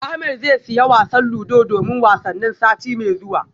Ahmed zai siya wasan ludo domin wasannin sati mai zuwa